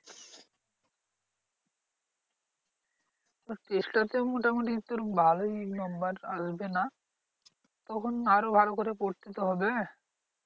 Test টা তেও মোটামুটি তোর ভালোই number আসবে না। তখন আরো ভালো করে পড়তে তো হবে।